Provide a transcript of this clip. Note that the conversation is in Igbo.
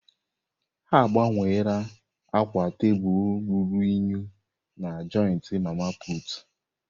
Ha agbanweela akwa tebụl ruru unyi na joịtị mama putụ̀.